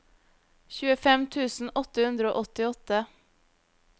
tjuefem tusen åtte hundre og åttiåtte